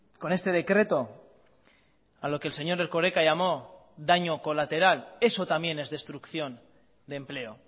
con este decreto a lo que el señor erkoreka llamó daño colateral eso también es destrucción de empleo